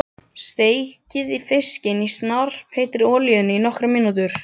Steikið fiskinn í snarpheitri olíunni í nokkrar mínútur.